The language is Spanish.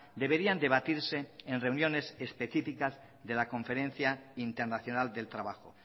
deberían debatirse en reuniones específicas de la conferencia internacional del trabajo